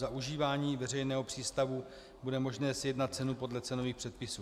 Za užívání veřejného přístavu bude možné sjednat cenu podle cenových předpisů.